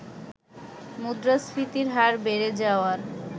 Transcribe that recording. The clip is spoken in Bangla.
মুদ্রাস্ফীতির হার বেড়ে যাওয়ার